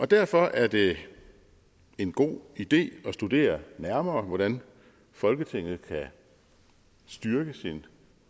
derfor er det en god idé at studere nærmere hvordan folketinget kan styrke sin